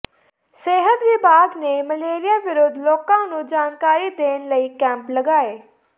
ਸਿਹਤ ਵਿਭਾਗ ਨੇ ਮਲੇਰੀਏ ਵਿਰੱੁਧ ਲੋਕਾਂ ਨੂੰ ਜਾਣਕਾਰੀ ਦੇਣ ਲਈ ਕੈਂਪ ਲਗਾਇਆ